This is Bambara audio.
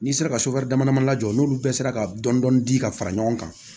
N'i sera ka dama dama labɔ n'olu bɛɛ sera ka dɔn dɔni di ka fara ɲɔgɔn kan